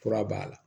Fura b'a la